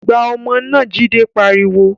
Gbá ọmọ náà! Jide pariwo